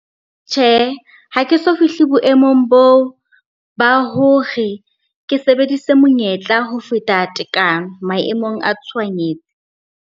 Tjhe, ha ke so fihle boemong boo ba hore ke sebedise monyetla ho feta tekano maemong a tshohanyetso.